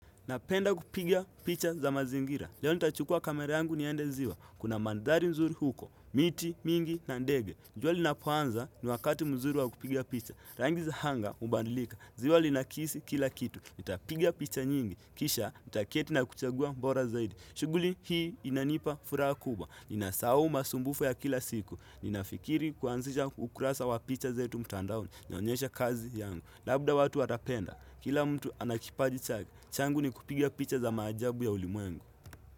Napenda kupiga picha za mazingira. Leo nitachukua kamera yangu niende ziwa. Kuna mandhari mzuri huko. Miti, mingi, na ndege. Jua linapoanza ni wakati mzuri wa kupiga picha. Rangi za hanga, umbandilika. Ziwa lina akisi kila kitu. Nitapiga picha nyingi. Kisha, nitaketi na kuchagua mbora zaidi. Shuguli hii inanipa furaha kubwa. Ninasahau masumbufo ya kila siku. Ninafikiri kuanzisha ukurasa wa picha zetu mtandaoni. Nionyeshe kazi yangu. Labda watu watapenda. Kila mtu anakipaji chake. Changu ni kupiga picha za maajabu ya ulimwengu.